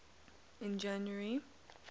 in january